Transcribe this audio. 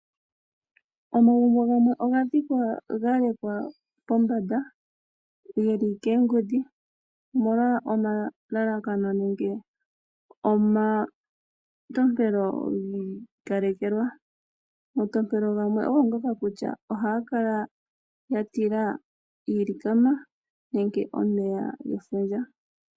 Omagumbo gamwe oga dhikwa galekwa pombanda geli koongudhi omolwa omatompelo giikalekelwa omatompelo gamwe ogo ngoka kutya ohaya kala yatila iilikama nenge omeya gefundja.